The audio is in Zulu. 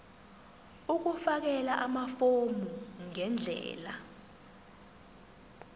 ukufakela amafomu ngendlela